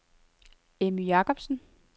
Emmy Jacobsen